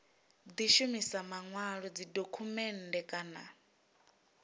di shumisa manwalo dzidokhumennde kana